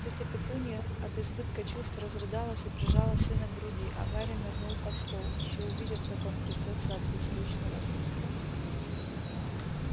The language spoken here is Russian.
тётя петунья от избытка чувств разрыдалась и прижала сына к груди а гарри нырнул под стол ещё увидят как он трясётся от беззвучного смеха